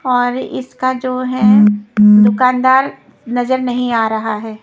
और इसका जो है दुकानदार नजर नहीं आ रहा है।